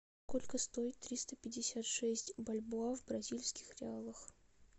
сколько стоит триста пятьдесят шесть бальбоа в бразильских реалах